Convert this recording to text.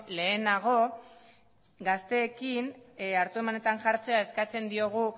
lehenago gazteekin hartu emanetan jartzea eskatzen diogu